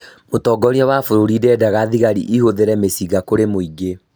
Mũtongoria wa bũrũri ndedaga thigari ihũthĩre mĩcinga kũrĩ mũingĩ